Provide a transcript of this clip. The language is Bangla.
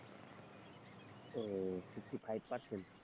oh fifty five percent,